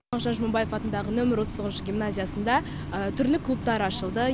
мағжан жұмабаев атындағы нөмірі отыз тоғызыншы гимназиясында түрлі клубтар ашылды